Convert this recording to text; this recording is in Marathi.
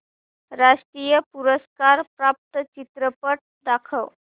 राष्ट्रीय पुरस्कार प्राप्त चित्रपट दाखव